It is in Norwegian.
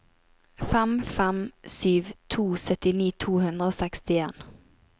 fem fem sju to syttini to hundre og sekstien